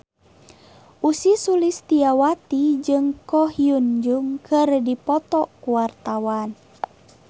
Ussy Sulistyawati jeung Ko Hyun Jung keur dipoto ku wartawan